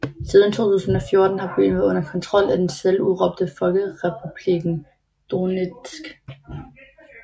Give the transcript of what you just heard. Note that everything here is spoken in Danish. Siden 2014 har byen været under kontrol af den selvudråbte Folkerepublikken Donetsk